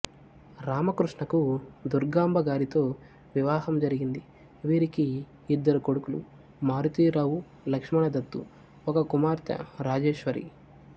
రామకృష్ణకు దుర్గాంబ గారితో వివాహం జరిగింది వీరికి ఇద్దరు కొడుకులు మారుతీ రావు లక్ష్మణ దత్తు ఒక కుమార్తె రాజేశ్వరి